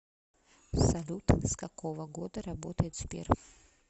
салют с какого года работает сбер